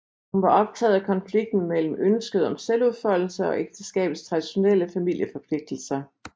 Hun var optaget af konflikten mellem ønsket om selvudfoldelse og ægteskabets traditionelle familieforpligtelser